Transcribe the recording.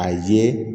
A ye